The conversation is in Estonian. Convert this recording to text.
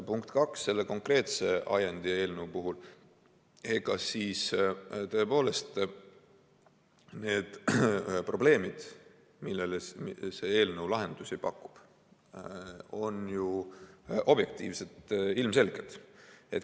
Punkt kaks, selle konkreetse ajendi ja eelnõu puhul, tõepoolest, need probleemid, millele see eelnõu lahendusi pakub, on ju objektiivselt ilmselged.